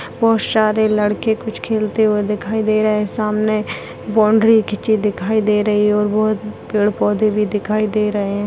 बहुत सारे लड़के कुछ खेलते हुए दिखाई दे रहे हैं सामने बाउंड्री खींची दिखाई दे रही और वो पेड़-पौधे भी दिखाई दे रहे हैं।